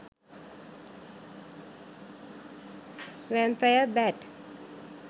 vampire bat